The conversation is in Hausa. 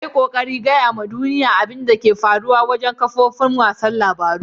Ya yo kokari gaya ma duniyya abin da ke faruwa wajen kafofin wasan labaru.